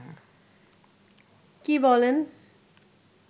কী বলেন